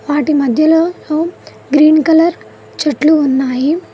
వాటి మధ్యలో హోమ్ గ్రీన్ కలర్ చెట్లు ఉన్నాయి.